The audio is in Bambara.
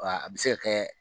A bi se ka kɛ